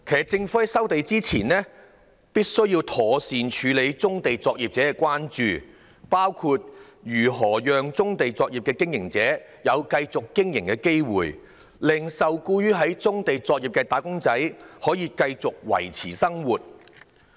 政府在收地前，必須妥善處理棕地作業者的關注，包括如何讓棕地作業的經營者有機會繼續經營，令受僱於棕地作業的"打工仔"可以繼續維持生計。